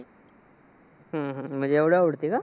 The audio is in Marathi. हम्म हम्म म्हणजे एवढं आवडते का?